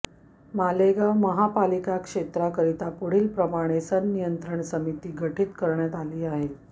मालेगाव महापालिका क्षेत्राकरिता पुढीलप्रमाणे संनियंत्रण समिती गठित करण्यात आली आहे